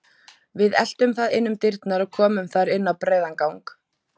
Við eltum það inn um dyrnar og komum þar inn á breiðan gang.